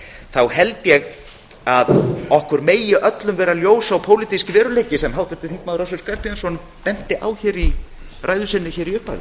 þá held ég að okkur megi öllum vera ljós sá pólitíski veruleiki sem háttvirtur þingmaður össur skarphéðinsson benti á í ræðu sinni hér í upphafi